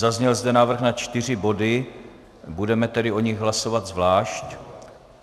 Zazněl zde návrh na čtyři body, budeme tedy o nich hlasovat zvlášť.